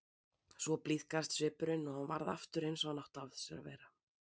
Svo blíðkaðist svipurinn og hann varð aftur eins og hann átti að sér að vera.